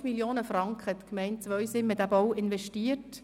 9,5 Mio. Franken hat die Gemeinde Zweisimmen in den Bau investiert.